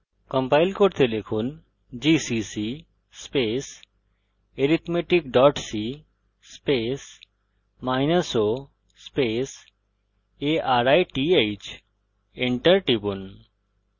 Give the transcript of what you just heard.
compile করতে লিখুন gcc arithmetic co arith enter টিপুন